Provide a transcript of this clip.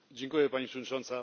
Pani Przewodnicząca!